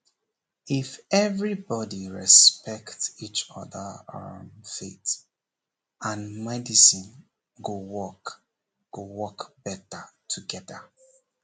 if everybody respect each other um faith and medicine go work go work better together